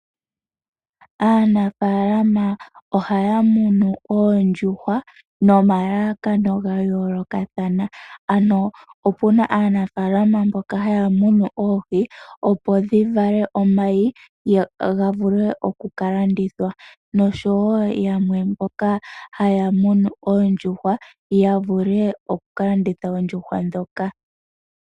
Aanafaalama ohaa munu oondjuhwa nomalalakano gayoolokathana. Opuna aanafaalama mboka haya munu oondjuhwa opo dhivale omayi ga vule okuka landithwa. Oshowo yamwe mboka haamunu oondjuhwa dhoka.